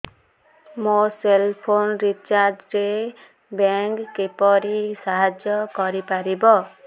ମୋ cell phone recharge ରେ bank କିପରି ସାହାଯ୍ୟ କରିପାରିବ